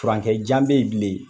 Furankɛ jan bɛ ye bilen